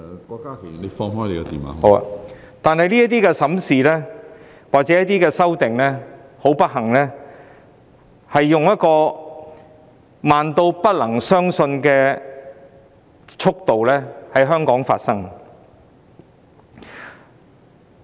很不幸，這些審視或修訂工作是以慢得不能相信的速度在香港進行。